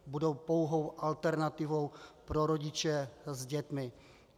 Budou pouhou alternativou pro rodiče s dětmi.